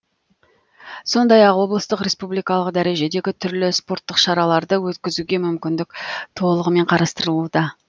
сондай ақ облыстық республикалық дәрежедегі түрлі спорттық шараларды өткізуге мүмкіндік толығымен қарастырылуда